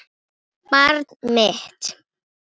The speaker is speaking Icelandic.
Tinna bograði yfir honum.